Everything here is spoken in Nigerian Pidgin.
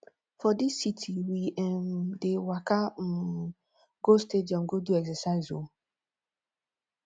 for dis city we um dey waka um go stadium go do exercise o